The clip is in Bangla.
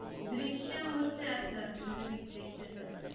Drishyam হচ্ছে একটা তুমি যদি দেখতে চাও।